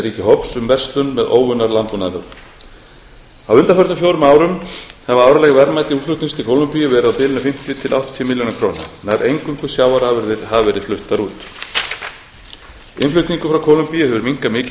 ríkjahóps um verslun með óunnar landbúnaðarvörur á undanförnum fjórum árum hafa árleg verðmæti útflutnings til kólumbíu verið á bilinu fimmtíu til áttatíu milljónir króna nær eingöngu sjávarafurðir hafa verið fluttar út innflutningur frá kólumbíu hefur minnkað mikið